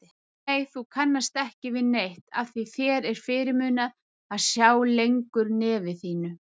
Nei, þú kannast ekki við neitt, afþví þér er fyrirmunað að sjá lengur nefi þínu.